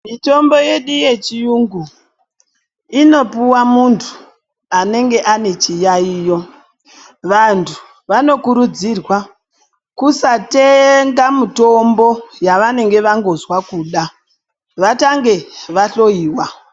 Mitombo yedu yechiyungu inopuwe muntu anenge ane chiyayiyo vantu vanokurudzirwa kusatenga mitombo yavanenge vangozwa kuda vatanga vahloyiwa.